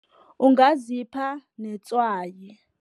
Ungazipha netswayi.